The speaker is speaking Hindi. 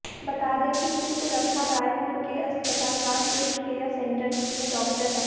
बता दें कि चित्ररखा रायपुर के अस्पताल रामकृष्ण केयर सेंटर में डॉक्टर हैं